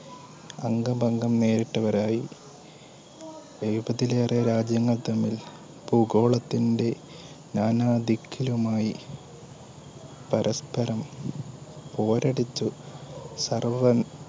അംഗബഗം നേരിട്ടവരായി എഴുപതിലേറെ രാജ്യങ്ങൾതമ്മിൽ ഭൂഗോളത്തിന്റെ നാനാ ദിക്കിലുമായി പരസ്പരം പോരടിച്ചു സർവ്വ